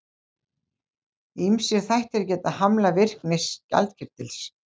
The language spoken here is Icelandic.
Ýmsir þættir geta hamlað virkni skjaldkirtils.